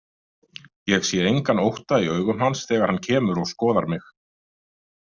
Ég sé engan ótta í augum hans þegar hann kemur og skoðar mig.